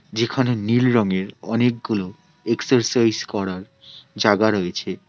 যেখানে নীল রঙের অনেকগুলো এক্সারসাইজ করার জাগা রয়েছে।